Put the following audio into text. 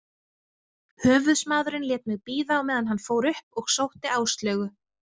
Höfuðsmaðurinn lét mig bíða á meðan hann fór upp og sótti Áslaugu.